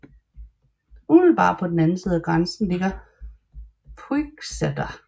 Umiddelbart på den anden side af grænsen ligger Puigcerdá